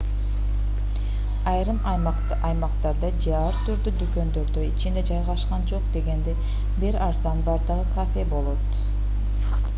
айрым аймактарда же ар түрдүү дүкөндөрдө ичинде жайгашкан жок дегенде бир арзан баадагы кафе болот